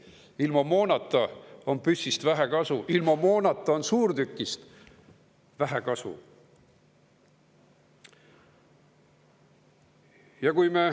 Ilma moonata on püssist vähe kasu, ilma moonata on suurtükist vähe kasu.